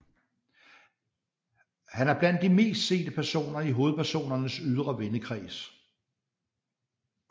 Han er blandt de mest sete personer i hovedpersonernes ydre vennekreds